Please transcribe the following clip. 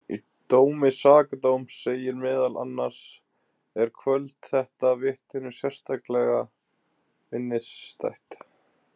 Í dómi sakadóms segir meðal annars: Er kvöld þetta vitninu sérstaklega minnisstætt.